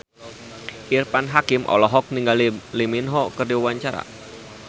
Irfan Hakim olohok ningali Lee Min Ho keur diwawancara